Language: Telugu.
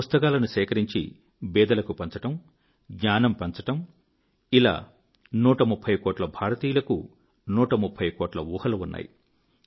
పుస్తకాలను సేకరించి బీదలకు పంచడం జ్ఞానం పంచడం ఇలా 130 కోట్ల భారతీయులకు 130 కోట్ల ఊహలు ఉన్నాయి